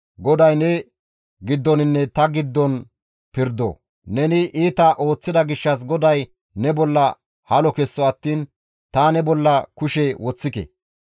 «GODAY ne giddoninne ta giddon pirdo. Neni iita ooththida gishshas GODAY ne bolla halo kesso attiin ta ne bolla kushe woththike.